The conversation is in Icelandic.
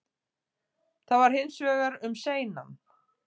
Það var hins vegar um seinan